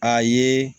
A ye